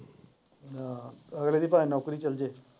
ਹਾਂ ਅਗਲੇ ਦੀ ਨੌਕਰੀ ਚੱਲ ਜਾਏ ਜਾ।